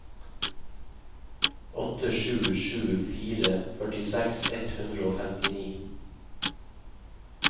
åtte sju sju fire førtiseks ett hundre og femtini